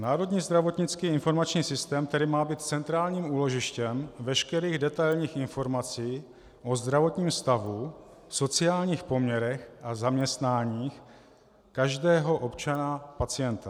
Národní zdravotnický informační systém, který má být centrálním úložištěm veškerých detailních informací o zdravotním stavu, sociálních poměrech a zaměstnáních každého občana pacienta.